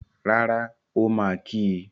Rárá, ó máa kí í.